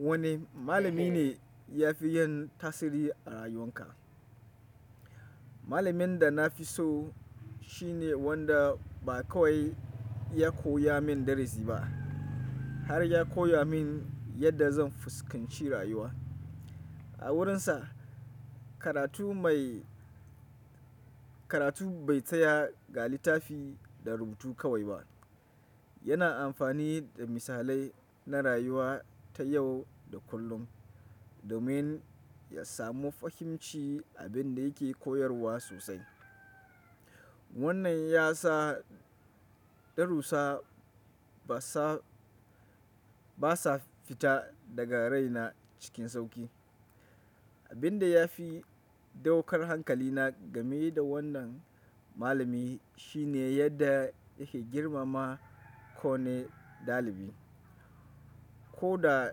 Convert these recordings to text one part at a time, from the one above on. Wani malami ne ya fi yin tasiri a rayuwanka? Malamin da na fi so shine wanda ba kawai ya koya min darasi ba har ya koya min yadda zan fuskanci rayuwa. A wurinsa karatu mai, karatu bai tsaya ga littafi da rubutu kawai ba. Yana amfani da misalai na rayuwa ta yau da kullum domin ya samu fahimci abin da yake koyarwa sosai. Wannan ya sa darusa ba sa, ba sa fita daga raina cikin sauki. Abin da ya fi daukar hankalina game da wannan malami shine yadda yake girmama kowane ɗalibi. Ko da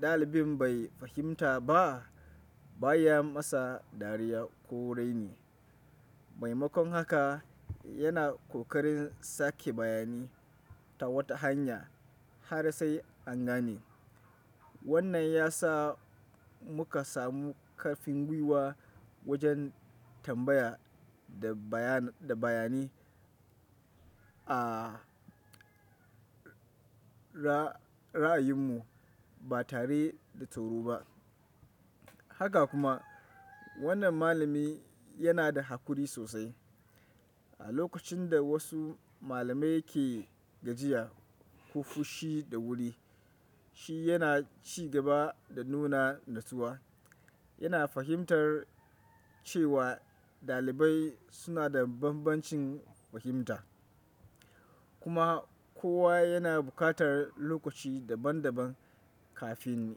ɗalibin bai fahimta ba, ba ya masa dariya ko raini. Maimakon haka yana ƙoƙarin sake bayani ta wata hanya har sai an gane. Wannan ya sa muka samu ƙarfin gwiwa wajen tambaya da bayan, da bayanai a ra, ra'ayinmu ba tare da tsoro ba. Haka kuma wannan malami yana da haƙuri sosai. A lokacin da wasu malamai ke gajiya ko fushi da wuri, shi yana ci gaba da nuna natsuwa. Yana fahimtar cewa ɗalibai suna da banbancin fahimta kuma kowa yana buƙatar lokaci daban daban kafin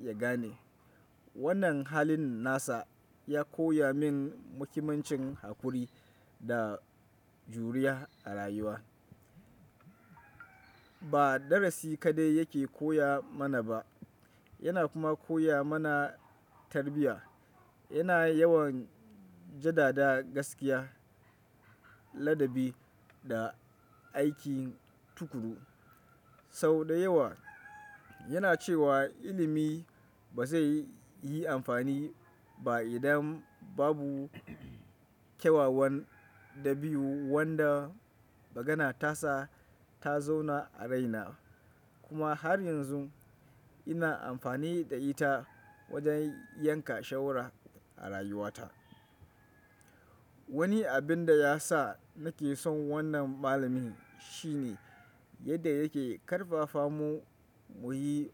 ya gane. Wannan halin nasa ya koya min muhimmancin haƙuri da juriya a rayuwa. Ba darasi kaɗai yake koya mana ba, yana kuma koya mana tarbiyya. Yana yawan jadada gaskiya, ladabi da aikin tukuru. Sau da yawa yana cewa ilimi ba zai yi amfani ba idan babu kyawawan dabi'u wanda magana ta sa ta zauna a raina. Kuma har yanzu ina amfani da ita wajen yanka shawara a rayuwata. Wani abin da ya sa nake son wannan malami shine yadda yake karfafa mu muyi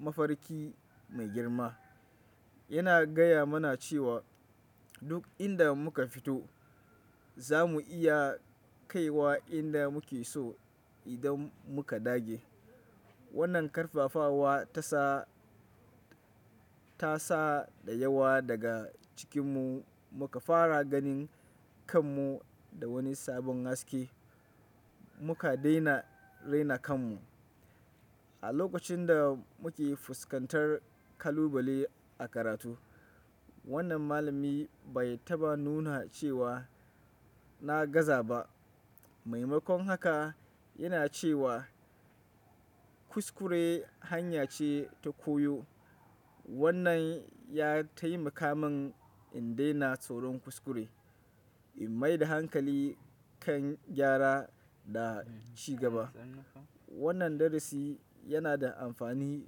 mafarki mai girma. Yana gaya mana cewa duk inda muka fito za mu iya kaiwa inda muke so idan muka dage. Wannan ƙarfafawa ta sa, ta sa da yawa daga cikinmu muka fara ganin kanmu da wani sabon haske. Muka daina raina kanmu. A lokacin da muke fuskantar kalubale a karatu, wannan malami bai taɓa nuna cewa na gaza ba. Maimakon haka yana cewa kuskure hanya ce ta koyo. Wannan ya taimaka min in daina tsoron kuskure, in maida hankali kan gyara da ci gaba. Wannan darasi yana da amfani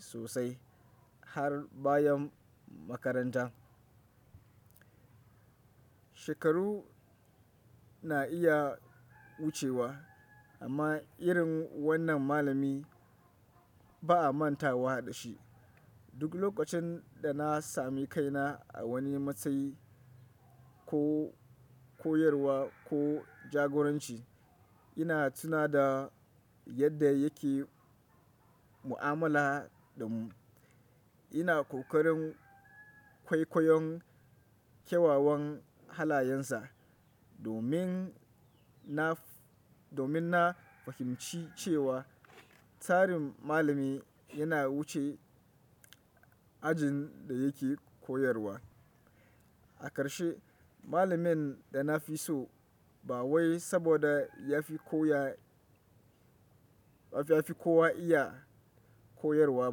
sosai har bayan makaranta. Shekaru na iya wucewa amma irin wannan malami ba a mantawa da shi. Duk lokacin da na sami kaina a wani matsayi ko, koyarwa ko jagoranci, ina tuna da yadda yake mu'amala da mu. Ina ƙoƙarin kwaikwayon kyawawan halayensa domin naf, domin na fahimci cewa tarin malami yana wuce ajin da yake koyarwa. A ƙarshe, malamin da na fi so ba wai saboda ya fi kowa iya koyarwa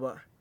ba.